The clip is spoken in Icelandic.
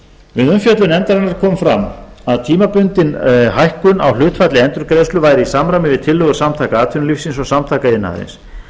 við umfjöllun nefndarinnar kom fram að tímabundin hækkun á hlutfalli endurgreiðslu væri í samræmi við tillögur samtaka atvinnulífsins og samtaka iðnaðarins